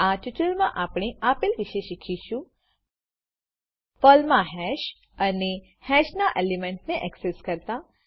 આ ટ્યુટોરીયલમાં આપણે આપેલવિશે શીખીશું પર્લમાં હેશ અને હેશના એલિમેન્ટને એક્સેસ કરતા